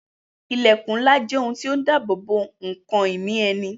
Ilẹkun ńlá jẹ́ ohun tó ń dabobo ǹkan ìní ẹni